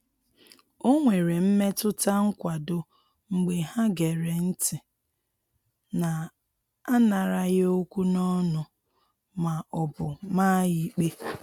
O nwere mmetụta nkwado mgbe ha gere ntị na-anaghara ya okwu n'ọnụ ma ọ bụ maa ya ikpe.